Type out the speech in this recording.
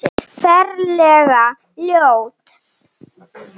Ferlega ljót.